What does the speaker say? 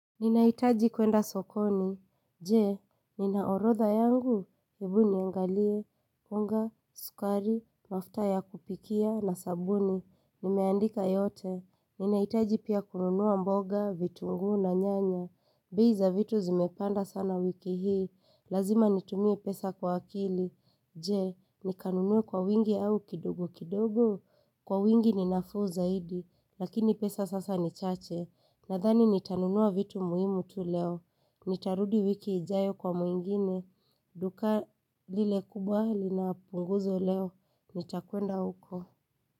Ninahitaji kuenda sokoni. Je, ninaorotha yangu. Ebuni yangalie. Munga, sukari, mafta ya kupikia na sabuni. Nimeandika yote. Ninahitaji pia kununuwa mboga, vitunguu na nyanya. Bei za vitu zimepanda sana wiki hii. Lazima nitumie pesa kwa akili. Je, nikanunue kwa wingi au kidogo kidogo. Kwa wingi ninafuu zaidi. Lakini pesa sasa ni chache. Nathani nitanunua vitu muhimu tu leo. Nitarudi wiki ijayo kwa mwengine. Duka lile kubwa linapunguzwa leo. Nitakuenda huko.